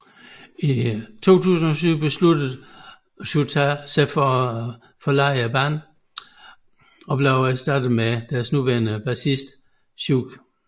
I februar 2007 besluttede Shouta sig for at forlade bandet og blev erstattet med deres nuværende bassist Chiyu